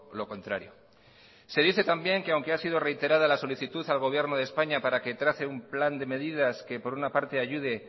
lo contrario se dice también que aunque ha sido reiterada la solicitud al gobierno de españa para que trace un plan de medidas que por una parte ayude